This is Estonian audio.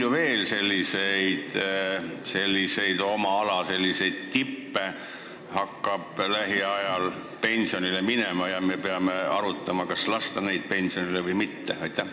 Ja kui palju selliseid oma ala tippe hakkab lähiajal veel pensionile minema, kelle puhul me peame arutama, kas neid lasta pensionile või mitte?